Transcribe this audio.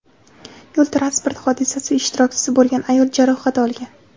Yo‘l transport hodisasi ishtirokchisi bo‘lgan ayol jarohat olgan.